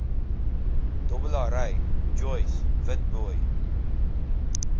dobbelary joyce witbooi